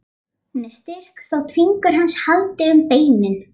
Hún er styrk þótt fingur hans haldi um beinin.